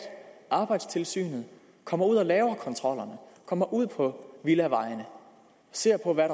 og arbejdstilsynet kommer ud og laver kontrollerne kommer ud på villavejene og ser på hvad